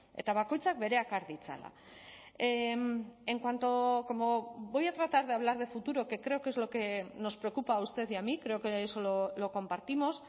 eta bakoitzak bereak har ditzala en cuanto como voy a tratar de hablar de futuro que creo que es lo que nos preocupa a usted y a mí creo que eso lo compartimos